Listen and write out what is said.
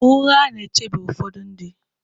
Ụgha na-echebe ụfọdụ ndị.